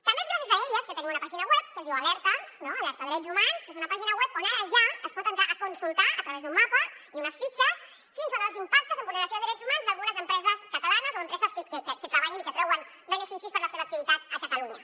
també és gràcies a elles que tenim una pàgina web que es diu alerta no alerta drets humans que és una pàgina web on ara ja es pot entrar a consultar a través d’un mapa i unes fitxes quins són els impactes en vulneració de drets humans d’algunes empreses catalanes o empreses que treballen i que treuen beneficis per la seva activitat a catalunya